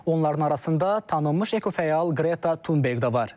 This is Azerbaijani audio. Onların arasında tanınmış ekofəal Qreta Tunberq də var.